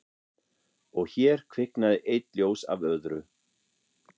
Og hér kviknaði eitt ljós af öðru